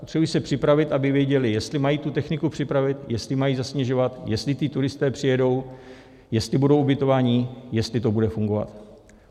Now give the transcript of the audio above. Potřebují se připravit, aby věděli, jestli mají tu techniku připravit, jestli mají zasněžovat, jestli ti turisté přijedou, jestli budou ubytovaní, jestli to bude fungovat.